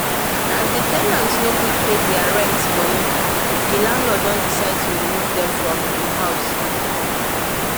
as the ten ant nor quick pay their rent money, the landlord don decide to remove them from im house